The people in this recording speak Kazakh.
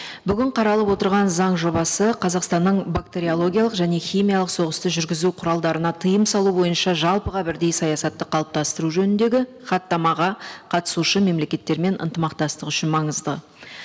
бүгін қаралып отырған заң жобасы қазақстанның бактериологиялық және химиялық соғысты жүргізу құралдарына тыйым салу бойынша жалпыға бірдей саясатты қалыптастыру жөніндегі хаттамаға қатысушы мемлекеттермен ынтымақтастық үшін маңызды